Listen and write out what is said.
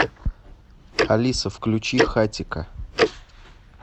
алиса включи хатико